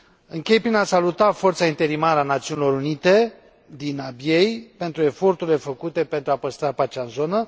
Închei prin a saluta forța interimară a Națiunilor Unite din Abyei pentru eforturile făcute pentru a păstra pacea în zonă.